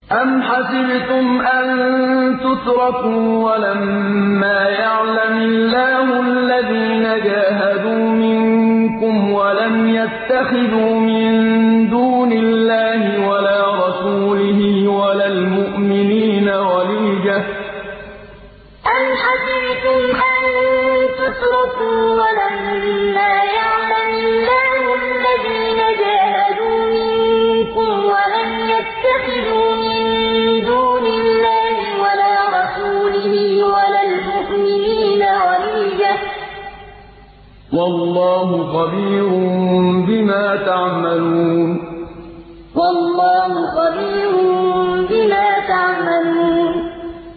أَمْ حَسِبْتُمْ أَن تُتْرَكُوا وَلَمَّا يَعْلَمِ اللَّهُ الَّذِينَ جَاهَدُوا مِنكُمْ وَلَمْ يَتَّخِذُوا مِن دُونِ اللَّهِ وَلَا رَسُولِهِ وَلَا الْمُؤْمِنِينَ وَلِيجَةً ۚ وَاللَّهُ خَبِيرٌ بِمَا تَعْمَلُونَ أَمْ حَسِبْتُمْ أَن تُتْرَكُوا وَلَمَّا يَعْلَمِ اللَّهُ الَّذِينَ جَاهَدُوا مِنكُمْ وَلَمْ يَتَّخِذُوا مِن دُونِ اللَّهِ وَلَا رَسُولِهِ وَلَا الْمُؤْمِنِينَ وَلِيجَةً ۚ وَاللَّهُ خَبِيرٌ بِمَا تَعْمَلُونَ